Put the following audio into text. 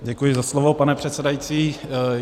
Děkuji za slovo, pane předsedající.